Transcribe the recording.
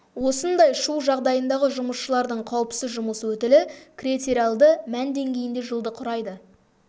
осындай шу жағдайындағы жұмысшылардың қауіпсіз жұмыс өтілі критериалды мән деңгейінде жылды құрайды